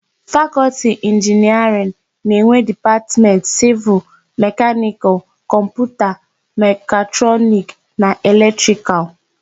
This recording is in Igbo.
Fakọlti Inginiarịn na-enwe Dipatmentị Sịvịl, Mekanịkal, Kọmputa, Mekatrọniki na Elektrikalụ.